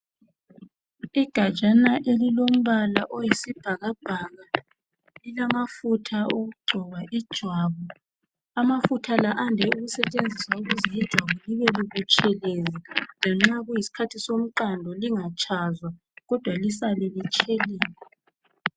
Igatshana elilombala oyisibhakabhaka lilamafutha okugcoba ijwabu. Amafutha la ande ukusetshenziswa ukuze ijwabu libebutshelezi lanxa kuyisikhathi somqando lingatshazwa kodwa lisale litshelela.